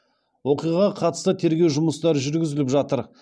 оқиғаға қатысты тергеу жұмыстары жүргізіліп жатыр